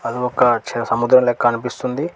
ఆహ్ ఒక సముద్రం లెక్క కనిపిస్తుంది.